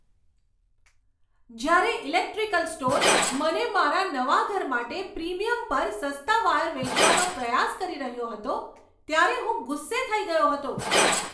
જ્યારે electrical store મને મારા નવા ઘર માટે પ્રીમિયમ પર સસ્તા વાયર વેચવાનો પ્રયાસ કરી રહ્યો હતો ત્યારે હું ગુસ્સે થઈ ગયો હતો.